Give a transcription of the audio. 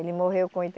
Ele morreu com